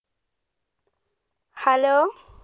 Hello